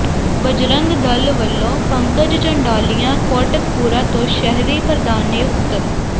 ਬਜਰੰਗ ਦਲ ਵੱਲੋਂ ਪੰਕਜ ਚੰਡਾਲੀਆ ਕੋਟਕਪੂਰਾ ਤੋਂ ਸ਼ਹਿਰੀ ਪ੍ਰਧਾਨ ਨਿਯੁਕਤ